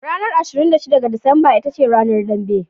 Ranar 26 ga Disamba ita ce Ranar Dambe.